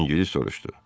İngilis soruşdu.